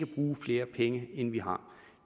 bruge flere penge end vi har